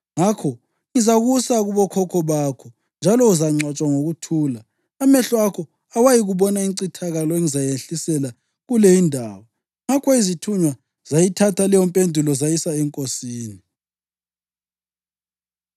Ngakho ngizakusa kubokhokho bakho, njalo uzangcwatshwa ngokuthula. Amehlo akho awayikuyibona incithakalo engizayehlisela kule indawo.’ ” Ngakho izithunywa zayithatha leyompendulo zayisa enkosini.